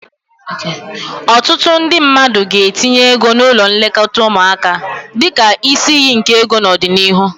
Ọtụtụ ndị mmadụ ga-etinye ego n'ụlọ nlekọta ụmụaka dịka isi iyi nke ego n'ọdịnihu.